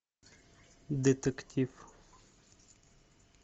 детектив